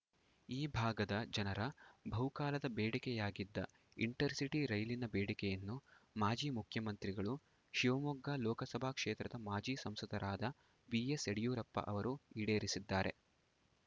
ಈ ಭಾಗದ ಜನರ ಬಹುಕಾಲದ ಬೇಡಿಕೆಯಾಗಿದ್ದ ಇಂಟರಸಿಟಿ ರೈಲಿನ ಬೇಡಿಕೆಯನ್ನು ಮಾಜಿ ಮುಖ್ಯಮಂತ್ರಿಗಳು ಶಿವಮೊಗ್ಗ ಲೋಕಸಭಾ ಕ್ಷೇತ್ರದ ಮಾಜಿ ಸಂಸದರಾದ ಬಿಎಸ್‌ಯಡಿಯೂರಪ್ಪ ಅವರು ಈಡೇರಿಸಿದ್ದಾರೆ